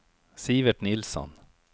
Sivert Nilsson